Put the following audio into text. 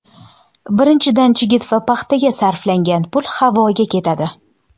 Birinchidan, chigit va paxtaga sarflangan pul havoga ketadi.